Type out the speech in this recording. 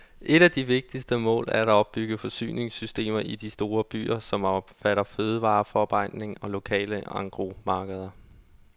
Et af de vigtigste mål er at opbygge forsyningssystemer i de store byer, som omfatter fødevareforarbejdning og lokale engrosmarkeder.